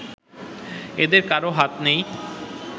এদের কারও হাত নেই